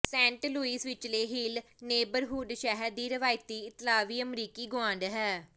Saint Louis ਵਿਚਲੇ Hill neighbourhood ਸ਼ਹਿਰ ਦੀ ਰਵਾਇਤੀ ਇਤਾਲਵੀ ਅਮਰੀਕੀ ਗੁਆਂਢ ਹੈ